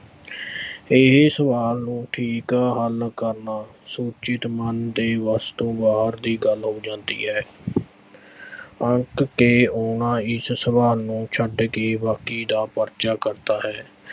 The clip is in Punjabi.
ਇਹੇ ਸਵਾਲ ਨੂੰ ਠੀਕ ਹੱਲ ਕਰਨਾ ਸੁਚੇਤ ਮਨ ਦੇ ਵੱਸ ਤੋਂ ਬਾਹਰ ਦੀ ਗੱਲ ਹੋ ਜਾਂਦੀ ਹੈ ਅੱਕ ਕੇ ਉਹ ਨਾ ਇਸ ਸਵਾਲ ਨੂੰ ਛੱਡ ਕੇ ਬਾਕੀ ਦਾ ਪਰਚਾ ਕਰਦਾ ਹੈ।